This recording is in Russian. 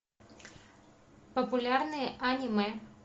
популярные аниме